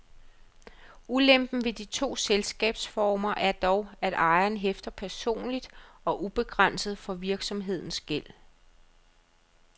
Ulempen ved de to selskabsformer er dog, at ejeren hæfter personligt og ubegrænset for virksomhedens gæld.